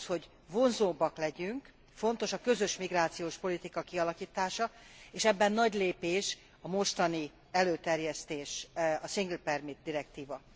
Ahhoz, hogy vonzóbbak legyünk, fontos a közös migrációs politika kialakítása, és ebben nagy lépés a mostani előterjesztés, a Single Permit direktíva.